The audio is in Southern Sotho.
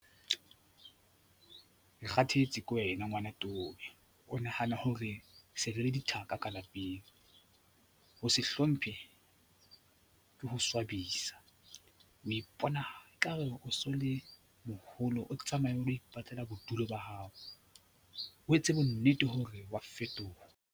Ke kgathetse ke wena ngwana towe. O nahana hore se re le dithaka ka lapeng. Ho se hlomphe ke ho swabisa, o ipona ekare o so le moholo. O tsamaye o lo ipatlela bodulo ba hao, o etse bonnete hore wa fetoha.